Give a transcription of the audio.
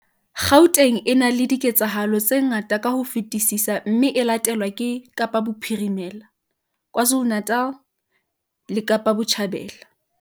Gauteng e na le diketsahalo tse ngata ka ho fetisisa mme e latelwa ke Kapa Bophirimela, KwaZuluNatal le Kapa Botjhabela.